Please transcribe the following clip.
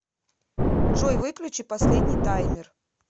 джой выключи последний таймер